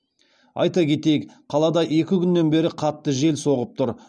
айта кетейік қалада екі күннен бері қатты жел соғып тұр